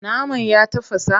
Naman ya tafasa?